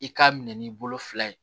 I k'a minɛ n'i bolo fila ye